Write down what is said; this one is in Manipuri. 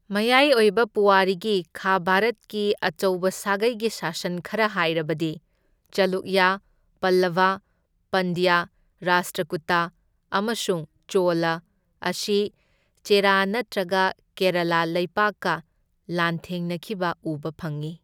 ꯃꯌꯥꯏ ꯑꯣꯏꯕ ꯄꯨꯋꯥꯔꯤꯒꯤ ꯈꯥ ꯚꯥꯔꯠꯀꯤ ꯑꯆꯧꯕ ꯁꯥꯒꯩꯒꯤ ꯁꯥꯁꯟ ꯈꯔ ꯍꯥꯏꯔꯕꯗꯤ ꯆꯥꯂꯨꯛꯌ, ꯄꯜꯂꯚ, ꯄꯥꯟꯗ꯭ꯌ, ꯔꯥꯁꯇ꯭ꯔꯀꯨꯇ ꯑꯃꯁꯨꯡ ꯆꯣꯂ ꯑꯁꯤ ꯆꯦꯔꯥ ꯅꯠꯇ꯭ꯔꯒ ꯀꯦꯔꯂꯥ ꯂꯩꯕꯥꯛꯀ ꯂꯥꯟꯊꯦꯡꯅꯈꯤꯕ ꯎꯕ ꯐꯪꯏ꯫